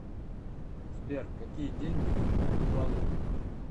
сбер какие деньги в тувалу